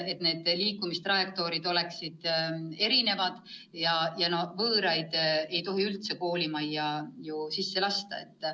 Nende liikumistrajektoorid peaksid olema erinevad ja võõraid ei tohi üldse koolimajja sisse lasta.